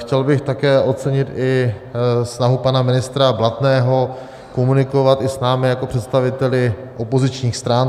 Chtěl bych také ocenit i snahu pana ministra Blatného komunikovat i s námi jako představiteli opozičních stran.